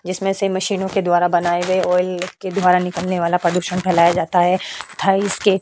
जिसमें से मशीनो के द्वारा बनाये गए ऑयल के द्वारा निकलने वाला प्रदूषण फैलाया जाता है तथा इसके --